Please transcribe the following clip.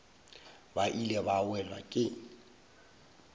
ba ile ba welwa ke